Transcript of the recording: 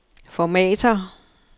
formatér